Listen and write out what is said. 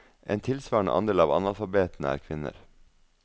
En tilsvarende andel av analfabetene er kvinner.